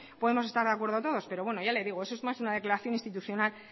podemos estar de acuerdo todos pero bueno ya le digo eso es más una declaración institucional